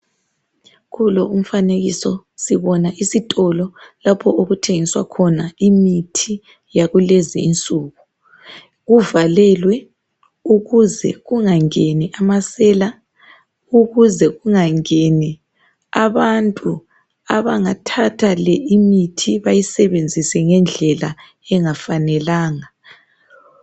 Kulo umfanekiso sibona isitolo lapho okuthengiswa khona imithi yakulezinsuku. Kuvalelwe ukuze kungangeni amasela ukuze kungangeni abantu abangathatha le imithi bayisebenzise ngendlela engafanelanga.